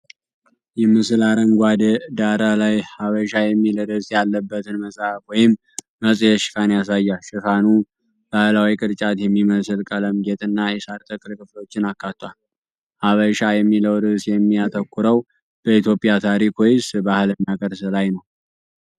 ይህ ምስል አረንጓዴ ዳራ ላይ “ሐበሻ” የሚል ርዕስ ያለበትን መጽሐፍ ወይም መጽሔት ሽፋን ያሳያል። ሽፋኑ ባህላዊ ቅርጫት የሚመስል ቀለም ጌጥና የሳር ተክል ክፍሎችን አካቷል። "ሐበሻ" የሚለው ርዕስ የሚያተኩረው በኢትዮጵያ ታሪክ፣ ወይስ ባህልና ቅርስ ላይ ነው?